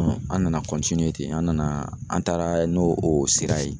Ɔn an nana kɔntiniye ten an nana an taara n'o o sira ye